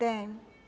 Tenho.